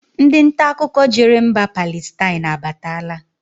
Ndị ntaakụkọ jere mba Palestine abatala